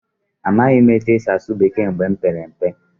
Amaghị m otú e si asụ Bekee mgbe m pere mpe.